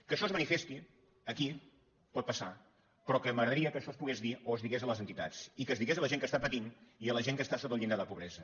que això es manifesti aquí pot passar però que m’agradaria que això es pogués dir o es digués a les entitats i que es digués a la gent que està patint i a la gent que està sota el llindar de la pobresa